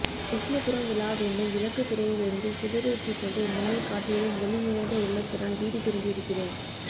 விஷ்ணுபுரம் விழாவென்னும் விளக்குப்பிறையிலிருந்து சுடரேற்றிக்கொண்டு முன்னைக்காட்டிலும் ஒளி நிறைந்த உள்ளத்துடன் வீடு திரும்பியிருக்கிறேன்